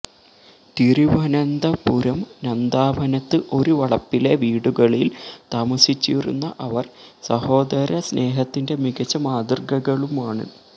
തിരുവനന്തപുരം നന്ദാവനത്ത് ഒരു വളപ്പിലെ വീടുകളിൽ താമസിച്ചിരുന്ന അവർ സഹോദരസ്നേഹത്തിന്റെ മികച്ച മാതൃകകളുമാണ്